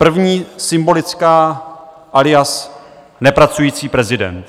První, symbolická - alias nepracující prezident.